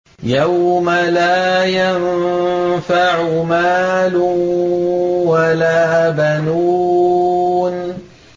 يَوْمَ لَا يَنفَعُ مَالٌ وَلَا بَنُونَ